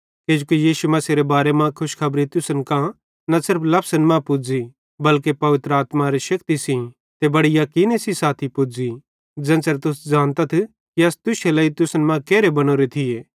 किजोकि यीशु मसीहेरे बारे मां खुशखबरी तुसन कां न सिर्फ लफसन मां पुज़ी बल्के पवित्र आत्मारे शक्ति सेइं ते बड़े याकीने सेइं साथी पुज़ी ज़ेन्च़रे तुस ज़ानतथ कि अस तुश्शे लेइ तुसन मां केरहे बनोरे थिये